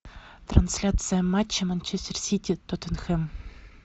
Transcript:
трансляция матча манчестер сити тоттенхэм